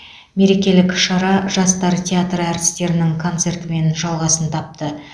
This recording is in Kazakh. мерекелік шара жастар театры әртістерінің концертімен жалғасын тапты